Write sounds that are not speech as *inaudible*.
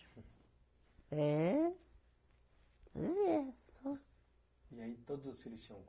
É *unintelligible* e aí todos os filhos tinham